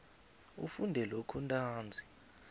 ufunde lokhu ntanzi